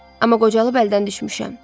Amma qocalıb əldən düşmüşəm.